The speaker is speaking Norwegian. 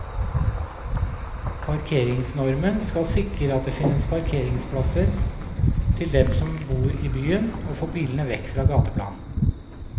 Parkeringsnormen skal sikre at det finnes parkeringsplasser til dem som bor i byen og få bilene vekk fra gateplan.